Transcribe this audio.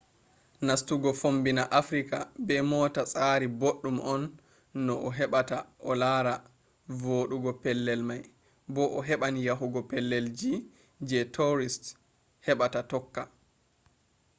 nastugo fommbina africa be mota tsari boɗɗum on no a heɓata a lara voɗugo pellel mai bo a heɓan yahugo pellel ji je tourist heɓata tokka